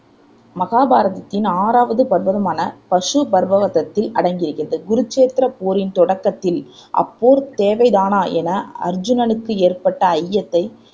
மகாபாரதத்தின் ஆறாவது பர்வமான பசுபர்வதத்தில் அடங்குகிறது குருச்சேத்திரப் போரின் தொடக்கத்தில் அப்போர் தேவைதானா என அருச்சுனனுக்கு ஏற்பட்ட ஐயத்தை